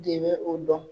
De bɛ o dɔn